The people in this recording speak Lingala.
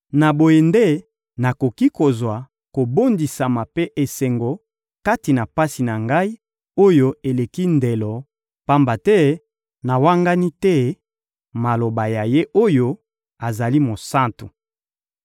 Na boye nde nakoki kozwa kobondisama mpe esengo kati na pasi na ngai, oyo eleki ndelo, pamba te nawangani te maloba ya Ye oyo azali Mosantu.